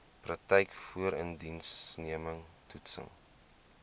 praktyk voorindiensneming toetsing